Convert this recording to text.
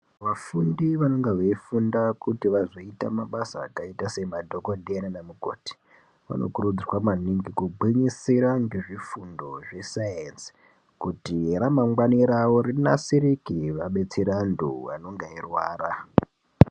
Vafundi vanenge veifunda kuti vazoita mabasa akaita sema nemadhokodheya nanamukoti vanokurudzirwa maningi kugwinyisira nezvifundo zve sainzi kuti ramangwani ravo rinasirike vazobetsera vantu vanenge veirwara.